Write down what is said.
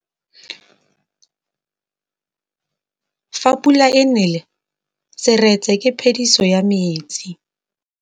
Fa pula e nelê serêtsê ke phêdisô ya metsi.